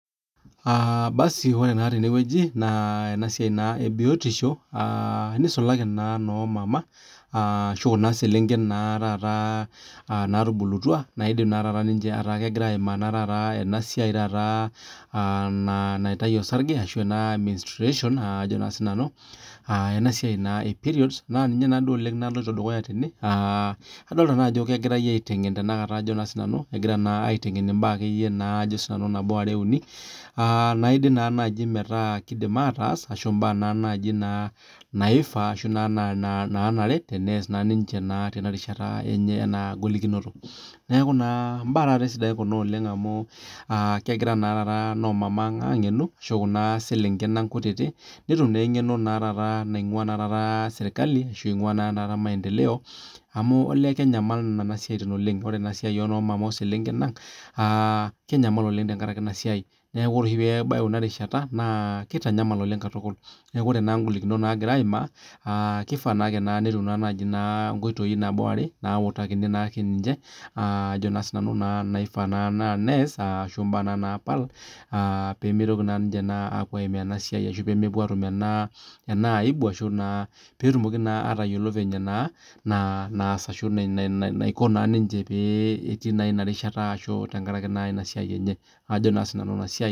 Aah basi ore naa tene wueji naa ena sai naa ebiotisho naa tene wueji. Aah enisulaki noo mama ashuu Kuna selenken naa taata naatubulutua naidim naa taata ninche negira naa taata ayimaa enasiai naa taata naitayu osrage ashuu ena menstruation aah Ajo naa sinanu periods naaninye naa naloito dukuya tene aah adol nanu ajokegirai aitengen tanakata Ajo naa sinanu tanakata aiteng naa imbaa nabo are uni. Naidim naa naji metaa keidim ataas ashu mbaa naa naji naa naifaa Ashu naanare neas naa niche Tena rishata enye ena golikinoto. Neaku naa mbaa taata sidain Kuna oleng amu kegira naa taata inoomama ang aangenu Ashu Kuna selenken ang kutiti netum naa engeno nainguaa serkali Ashu enguaa maendeleo amu kenyamal Nena siatin oleng. Ore na siai inoomama oselenken ang, aah kenyamal oleng tenkaraki Ina siai. Niaku ore oshi peyie ebay Ina rishata naa keitanyamal oleng katukul. Niaku ore ingolikinot naagira aimaa aah kefaa naa naji netum nkoitoi nautakini naake niche aah Ajo naa sinanu naa peyie eutu mbaa naa naji naapal aah peemeitoki naa apuo aimaa ena siai ashuu ena aibu Ashu naa peetumoki naa atayiolo penye naa naasa Ashu naiko niche tenkaraki Ina rishata natii naa Ina siaienye. Ajo naa sinanu.